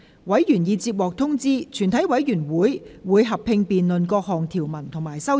委員已獲通知，全體委員會會合併辯論各項條文及修正案。